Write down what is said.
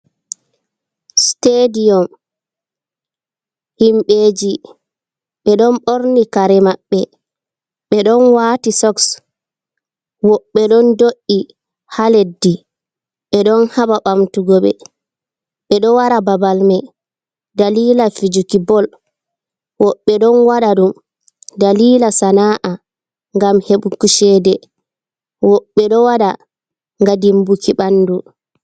Stediyom. Himɓeeji ɓe ɗon ɓorni kare maɓɓe, ɓe ɗon waati soks, woɓɓe ɗon do'i haa leddi, ɓe ɗon haɓa ɓamtugo ɓe. Ɓe ɗo wara babal mai dalila fijuki bol, woɓɓe ɗon waɗa ɗum dalila sana'a, ngam heɓuku ceede, woɓɓe ɗo waɗa nga dimbuki ɓandu.